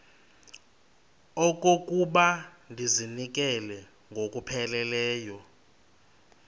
okokuba ndizinikele ngokupheleleyo